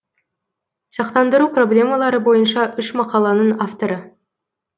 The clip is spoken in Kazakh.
сақтандыру проблемалары бойынша үш мақаланың авторы